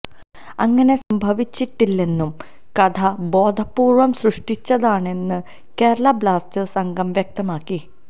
അങ്ങനെ സംഭവിച്ചിട്ടില്ലെന്നും കഥ ബോധപൂര്വം സൃഷ്ടിച്ചതാണെന്ന് കേരള ബ്ലാസ്റ്റേഴ്സ് അംഗം വ്യക്തമാക്കി